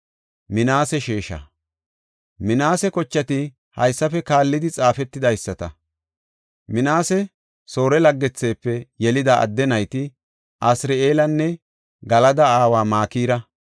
Minaase kochati haysafe kaallidi xaafetidaysata. Minaase Soore laggethefe yelida adde nayti Asiri7eelanne Galada aawa Makira.